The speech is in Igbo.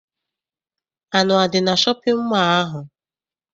Anụ adị na shọpịn mọọ ahụ?